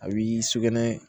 A b'i sugunɛ